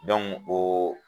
ooo.